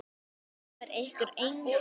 Það trúir ykkur enginn!